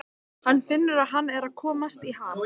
Hann finnur að hann er að komast í ham.